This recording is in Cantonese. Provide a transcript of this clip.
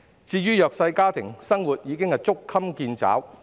至於弱勢家庭，生活已捉襟見肘。